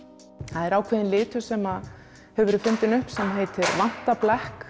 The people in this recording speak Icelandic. það er ákveðinn litur sem hefur verið fundinn upp sem heitir